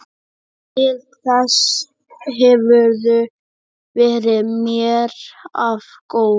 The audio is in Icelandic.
Til þess hefurðu verið mér of góð.